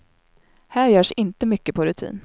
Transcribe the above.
Här görs inte så mycket på rutin.